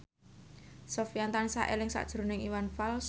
Sofyan tansah eling sakjroning Iwan Fals